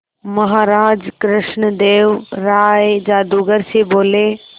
महाराज कृष्णदेव राय जादूगर से बोले